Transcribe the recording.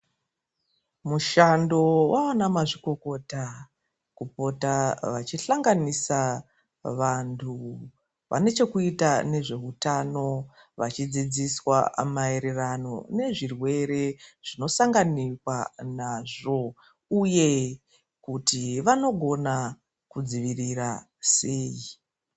Mushando waana mazvikokota kupota vachihlanganisa vantu vanechekuita nezveutano, vachidzidziswa maererano nezvirwere zvinosanganikwa nazvo, uye kuti vanogona kudzivirira sei.